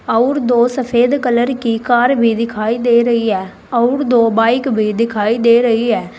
अउर दो सफेद कलर की कार भी दिखाई दे रही है अउर दो बाइक भी दिखाई दे रही है।